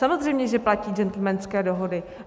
Samozřejmě že platí gentlemanské dohody.